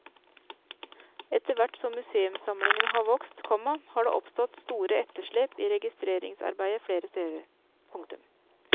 Etterhvert som museumssamlingene har vokst, komma har det oppstått store etterslep i registreringsarbeidet flere steder. punktum